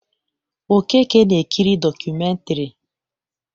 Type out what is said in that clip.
Okeke na-ekiri dọkụmentiri.